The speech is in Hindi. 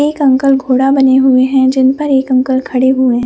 एक अंकल घोड़ा बने हुए है जिन पर एक अंकल खड़े हुए है।